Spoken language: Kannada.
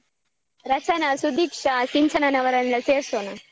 ರಚನ ಸುಧೀಕ್ಷ ಸಿಂಚನನವರನ್ನೆಲ್ಲ ಸೇರ್ಸೋಣ.